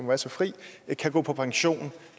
være så fri kan gå på pension